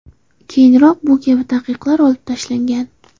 Keyinroq bu kabi taqiqlar olib tashlangan.